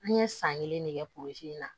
An ye san kelen de kɛ in na